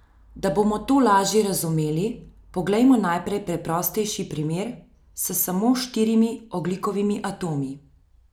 Da bomo to lažje razumeli, poglejmo najprej preprostejši primer s samo štirimi ogljikovimi atomi.